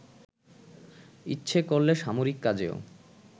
ইচ্ছে করলে সামরিক কাজেও